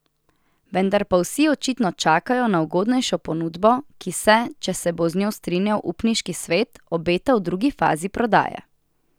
Vendar pa vsi očitno čakajo na ugodnejšo ponudbo, ki se, če se bo z njo strinjal upniški svet, obeta v drugi fazi prodaje.